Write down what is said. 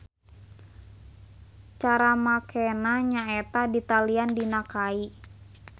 Cara makenea nya eta ditalian dina kai.